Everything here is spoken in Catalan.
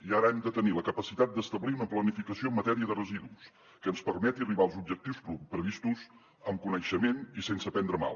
i ara hem de tenir la capacitat d’establir una planificació en matèria de residus que ens permeti arribar als objectius previstos amb coneixement i sense prendre mal